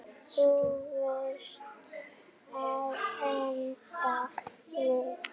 Þú varst að enda við.